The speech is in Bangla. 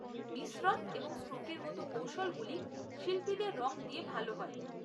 মিশ্রণ এবং স্ট্রোকের মত কৌশলগুলি শিল্পীদের রং দিয়ে ভাল হয়।